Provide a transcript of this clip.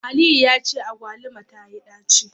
Aliyu yace agbaluma tayi daci